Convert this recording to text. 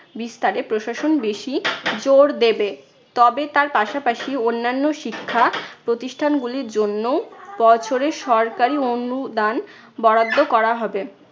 বিস্তারে প্রশাসন বেশি জোর দেবে। তবে তার পাশাপাশি অন্যান্য শিক্ষা প্রতিষ্ঠানগুলির জন্যও বছরে সরকারি অনুদান বরাদ্দ করা হবে।